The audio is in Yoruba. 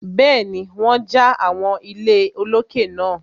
Bẹ́ẹ̀ni, wọ́n ja àwọn ilé olókè náà.